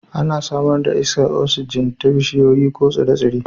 Ana samar da iskar oksijin ta bishiyoyi ko tsire-tsire